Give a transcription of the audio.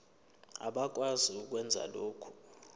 abakwazi ukwenza lokhu